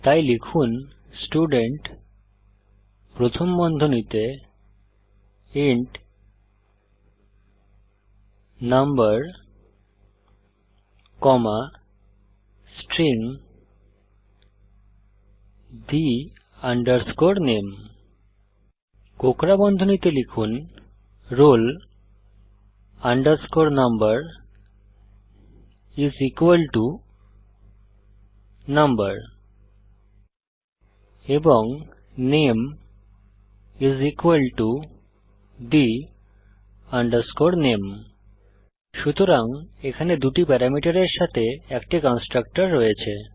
তাই লিখুন স্টুডেন্ট প্রথম বন্ধনীতে int number comma string the name কোঁকড়া বন্ধনীতে লিখুন roll number is equal to number এবং নামে is equal to the name সুতরাং এখানে দুটি প্যারামিটারের সাথে একটি কন্সট্রাকটর রয়েছে